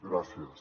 gràcies